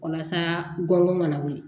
Walasa gɔngɔn kana wuli